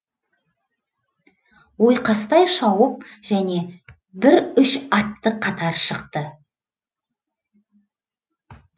ойқастай шауып және бір үш атты қатар шықты